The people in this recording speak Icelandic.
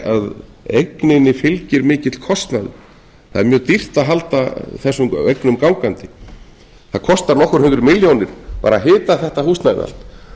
að eigninni fylgir mikill kostnaður það er mjög dýrt að halda þessum eignum gangandi það kostar nokkuð hundruð milljónir bara að hita þetta húsnæði allt